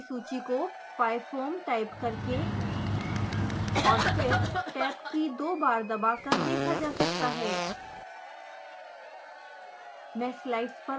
utilities की सूची को pyfoam टाइप करके और फिर टैब की को दो बार दबाकर देखा जा सकता है